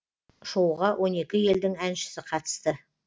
шоуға он екі елдің әншісі қатысты